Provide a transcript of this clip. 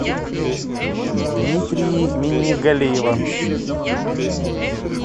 дмитрии миннегалиева